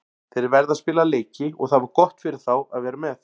Þeir verða að spila leiki og það var gott fyrir þá að vera með.